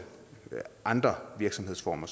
andre virksomhedsformer